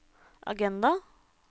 agenda